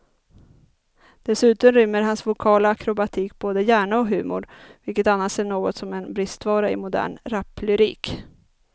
Dessutom rymmer hans vokala akrobatik både hjärna och humor, vilket annars är något av en bristvara i modern raplyrik.